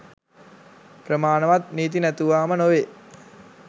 ප්‍රමාණවත් නීති නැතුවාම නොවේ.